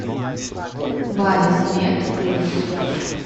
базисмед плюс